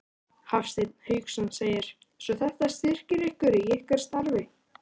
Hafsteinn Hauksson: Svo þetta styrkir ykkur í ykkar starfi?